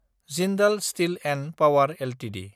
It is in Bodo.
Jindal steel & power Ltd